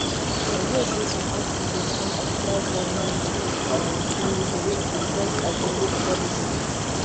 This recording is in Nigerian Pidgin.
i hear sey some activists wan occupy government um building to protest against policy